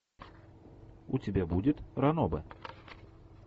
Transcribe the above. у тебя будет ранобэ